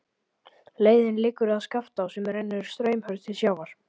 Leiðin liggur að Skaftá sem rennur straumhörð til sjávar.